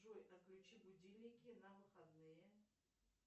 джой отключи будильники на выходные